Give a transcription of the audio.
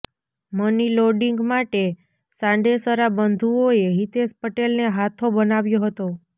money laundering માટે સાંડેસરા બંધુઓએ હિતેશ પટેલને હાથો બનાવ્યો હતો